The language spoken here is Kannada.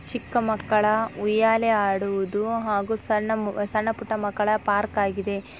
ಚಿಕ್ಕ ಮಕ್ಕಳ ಉಯ್ಯಾಲೆ ಆಡುವುದು ಹಾಗು ಸಣ್ಣ ಮು ಸಣ್ಣ ಪುಟ್ಟ ಮಕ್ಕಳ ಪಾರ್ಕ್ ಆಗಿದೆ.